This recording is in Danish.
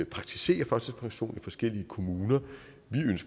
praktiserer førtidspension i forskellige kommuner